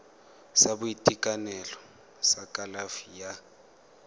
sa boitekanelo sa kalafi ya